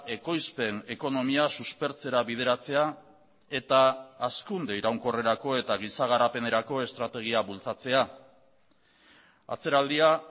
ekoizpen ekonomia suspertzera bideratzea eta hazkunde iraunkorrerako eta giza garapenerako estrategia bultzatzea atzeraldia